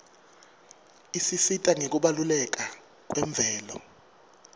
isisita ngekubaluleka kwemvelo